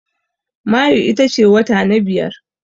Mayu ita ce wata na biyar.